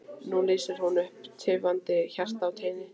Nú lýsir hún upp tifandi hjarta á teini.